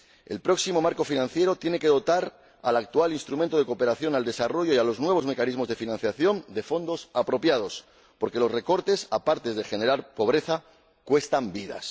El próximo marco financiero plurianual tiene que dotar al actual Instrumento de Financiación de la Cooperación al Desarrollo y a los nuevos mecanismos de financiación de fondos apropiados, porque los recortes, aparte de generar pobreza, cuestan vidas.